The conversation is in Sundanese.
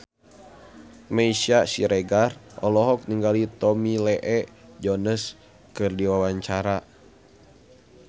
Meisya Siregar olohok ningali Tommy Lee Jones keur diwawancara